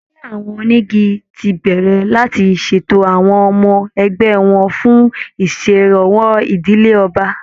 Ẹgbẹ́ àwọn onígi ti bẹ̀rẹ̀ láti ṣètò àwọn ọmọ ẹgbẹ́ wọn fún ìṣèrànwọ́ ìdílé ọba